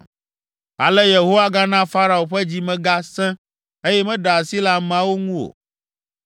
Ale Yehowa gana Farao ƒe dzi me gasẽ, eye meɖe asi le ameawo ŋu o.